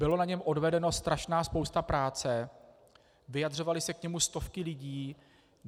Byla na něm odvedena strašná spousta práce, vyjadřovaly se k němu stovky lidí.